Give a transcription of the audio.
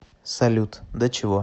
салют до чего